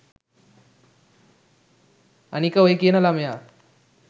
අනික ඔය කියන ලමයා